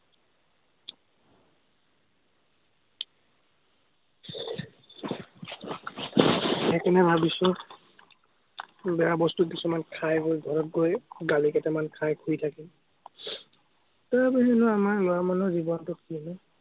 সেইকাৰণে ভাৱিছো, বেয়া বস্তু কিছুমান খাই বৈ ঘৰত গৈ গালি কেইটামান খাই শুই থাকিম। তাৰ বাহিৰেনো আমাৰ ল'ৰা মানুহ জীৱনটো কিনো।